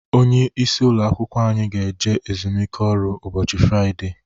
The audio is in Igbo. Onye isi ụlọ akwụkwọ anyị ga eje ezumike ọrụ ụbọchị Fraịdee